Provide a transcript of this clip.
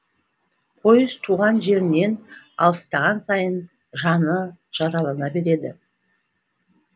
пойыз туған жерінен алыстаған сайын жаны жаралана берді